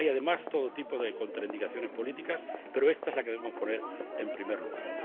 Además, hay todo tipo de contraindicaciones políticas, pero esta es la que debemos poner en primer lugar.